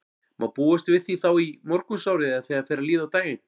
Má búast við því þá í morgunsárið eða þegar fer að líða á daginn?